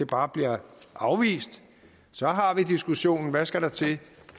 bare bliver afvist så har vi diskussionen der skal til